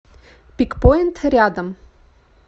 пикпоинт рядом